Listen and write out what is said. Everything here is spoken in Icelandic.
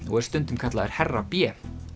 og er stundum kallaður herra b